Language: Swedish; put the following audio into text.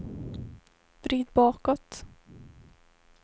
vrid bakåt